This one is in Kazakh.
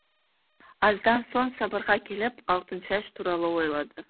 аздан соң сабырға келіп алтыншаш туралы ойлады